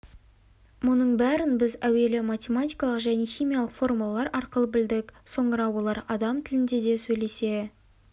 мұның бәрін біз әуелі математикалық және химиялық формулалар арқылы білдік соңыра олар адам тілінде де сөйлесе